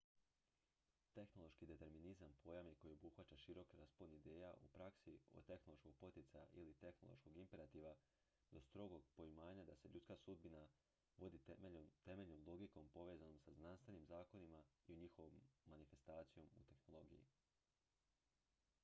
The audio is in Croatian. tehnološki determinizam pojam je koji obuhvaća širok raspon ideja u praksi od tehnološkog poticaja ili tehnološkog imperativa do strogog poimanja da se ljudska sudbina vodi temeljnom logikom povezanom sa znanstvenim zakonima i njihovom manifestacijom u tehnologiji